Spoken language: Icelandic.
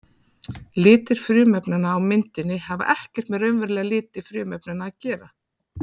Litir frumefnanna á myndinni hafa ekkert með raunverulega liti frumefnanna að gera.